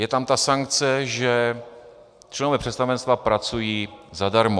Je tam ta sankce, že členové představenstva pracují zadarmo.